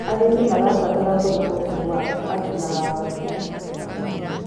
Arĩmĩ marabatara kwĩrũta kũma kũrĩ arũna ao